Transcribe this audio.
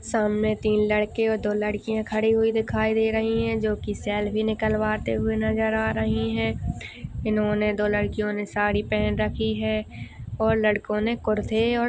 सामने तीन लड़के और दो लड़किया खड़ी हुई दिखाई दे रही है। जो की सेल्फ़ी निकलवाते हुए नजर आ रही है। इन्होने दो लड़कियों ने साड़ी पहन रखी है। और लड़के ने कुर्ते और--